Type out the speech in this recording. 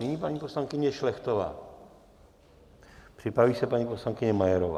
Nyní paní poslankyně Šlechtová, připraví se paní poslankyně Majerová.